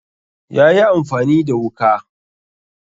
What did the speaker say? yayi amfani da wuka